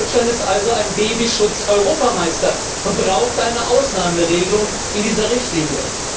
Deutschland ist also ein Babyschutz Europameister und braucht eine Ausnahmeregelung in dieser Richtlinie.